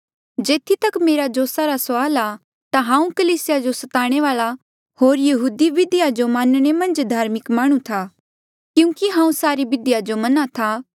जेथी तक मेरे जोसा रा सुआल आ ता हांऊँ कलीसिया जो सताणे वाल्आ होर यहूदी बिधियो जो मनणे मन्झ धार्मिक माह्णुं था क्यूंकि हांऊँ सारी बिधियो जो मना था